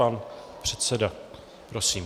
Pan předseda, prosím.